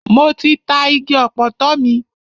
Mo ti ta igi ọ̀pọ̀tọ́ mi.